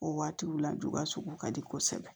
O waatiw la dugawu sugu ka di kosɛbɛ